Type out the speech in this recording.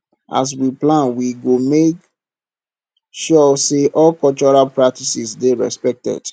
as we plan we go make sure say all cultural practices dey respected